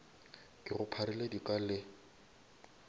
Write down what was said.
ke go pharile dika le